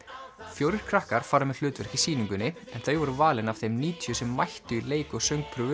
fjórir krakkar fara með hlutverk í sýningunni þau voru valin af þeim níutíu sem mættu í leik og